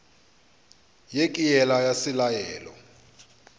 ye ke yela ya selalelo